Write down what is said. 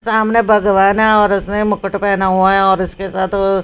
सामने भगवान है और उसने मुकुट पहना हुआ है और इसके साथ वो--